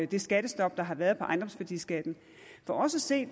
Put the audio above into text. det skattestop der har været på ejendomsværdiskatten for os at se